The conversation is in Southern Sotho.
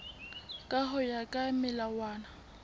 ka ho ya ka melawana